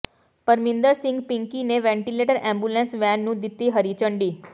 ਪਰਮਿੰਦਰ ਸਿੰਘ ਪਿੰਕੀ ਨੇ ventilator ambulance van ਨੂੰ ਦਿੱਤੀ ਹਰੀ ਝੰਡੀ